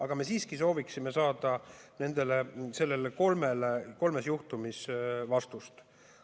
Aga me siiski sooviksime saada nende kolme juhtumi kohta vastust.